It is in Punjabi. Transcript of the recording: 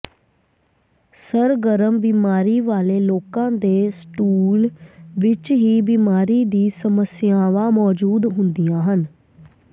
ਸਰਗਰਮ ਬਿਮਾਰੀ ਵਾਲੇ ਲੋਕਾਂ ਦੇ ਸਟੂਲ ਵਿੱਚ ਸੀ ਬਿਮਾਰੀ ਦੀ ਸਮੱਸਿਆਵਾਂ ਮੌਜੂਦ ਹੁੰਦੀਆਂ ਹਨ